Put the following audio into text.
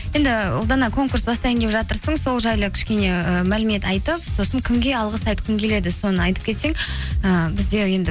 енді ұлдана конкурс бастайын деп жатырсың сол жайлы кішкене і мәлімет айтып сосын кімге алғыс айтқың келеді соны айтып кетсең і бізде енді